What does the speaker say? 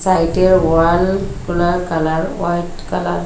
সাইটের ওয়ালগুলার colour white colour.